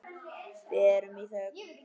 Við erum í þögn.